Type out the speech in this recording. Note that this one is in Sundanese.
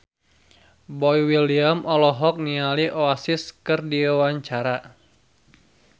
Boy William olohok ningali Oasis keur diwawancara